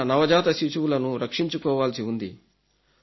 మన నవజాత శిశువులను రక్షించుకోవాల్సి ఉంది